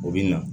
O bɛ na